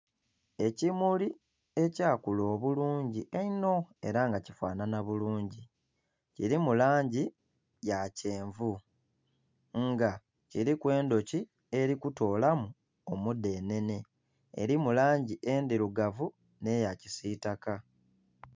Ekimuli ekyakula obulungi einho era nga kifanhanha bulungi. Kilimu langi ya kyenvu nga kiliku endhuki eli kutoolamu omudhenhenhe. Elimu langi endhirugavu nh'eya kisitaka.